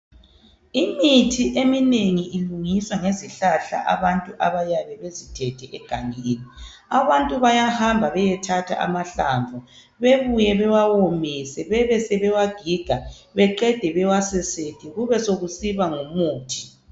Imithi eminengi ilungiswa ngezihlahla abantu abayabe bezithethe egangeni. Abantu bayahamba beyethatha amahlamvu bebuye bewawomise bebe sebewagiga beqede bewasesethe kube sokusiba ngumuthi.